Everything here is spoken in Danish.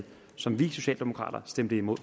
som vi socialdemokrater stemte imod